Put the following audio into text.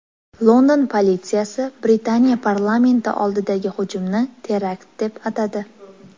London politsiyasi Britaniya parlamenti oldidagi hujumni terakt deb atadi.